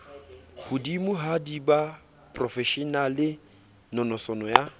hodimohadi ba boprofeshenale nonoso ya